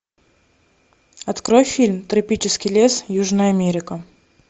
открой фильм тропический лес южная америка